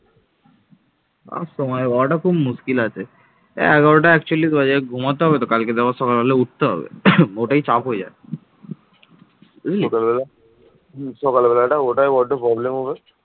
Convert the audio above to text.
এই যুগে বাংলা সমগ্র উত্তর ভারত জুড়ে সাম্রাজ্য বিস্তার করতে সক্ষম হয়